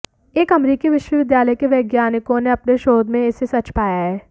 एक अमरीकी विश्वविद्यालय के वैज्ञानिकों ने अपने शोध में इसे सच पाया है